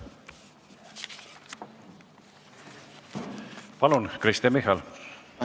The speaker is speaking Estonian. Palun, Kristen Michal!